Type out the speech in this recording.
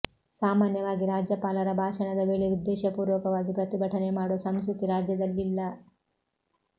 ಸಾಮಾನ್ಯವಾಗಿ ರಾಜ್ಯಪಾಲರ ಭಾಷಣದ ವೇಳೆ ಉದ್ದೇಶಪೂರ್ವಕವಾಗಿ ಪ್ರತಿಭಟನೆ ಮಾಡುವ ಸಂಸ್ಕೃ ತಿ ರಾಜ್ಯದಲ್ಲಿಲ್ಲ